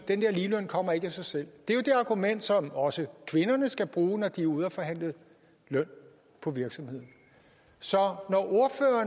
den der ligeløn kommer ikke af sig selv det er jo det argument som også kvinderne skal bruge når de er ude at forhandle løn på virksomhederne så